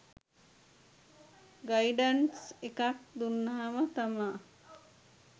guidance එකක් දුන්නම තමා